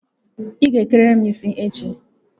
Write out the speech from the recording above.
Ị ga eke riri m isi echi!